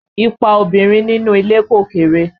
Ipa obìnrin nínú ilé kò kéré